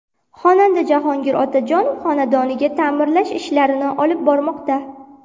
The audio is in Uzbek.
Xonanda Jahongir Otajonov xonadonida ta’mirlash ishlarini olib bormoqda.